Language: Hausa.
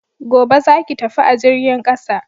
Gobe, za ki tafi a jirgin ƙasa!